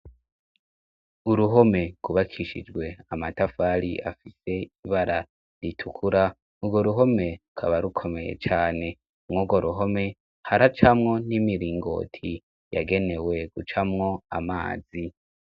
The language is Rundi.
Uruhome kubakishijwe amatafali afise ibara ritukura urwo ruhome kaba rukomeye cane mwogo ruhome hara camwo n'imiringoti yagenewe gucamwo amazi.